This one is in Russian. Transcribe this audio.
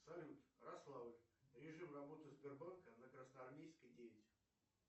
салют ярославль режим работы сбербанка на красноармейской девять